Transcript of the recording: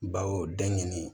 Bawo den ɲini